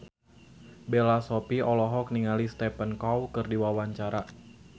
Bella Shofie olohok ningali Stephen Chow keur diwawancara